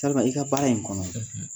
Talima i ka baara in kɔnɔ